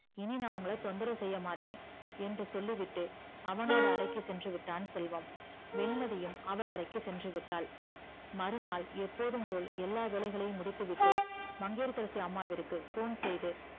இனி நா உங்கள தொந்தரவு செய்யமாட்ட என்று சொல்லிவிட்டு அவனோட அறைக்கு சென்றுவிட்டான் செல்வம் வெண்மதியும் அவள் அறைக்கு சென்றுவிட்டால் மறுநாள் எப்போதும் போல் எல்லா வேளைகளையும் முடித்துவிட்டு மங்கையகரசி அம்மாவுக்கு phone செய்து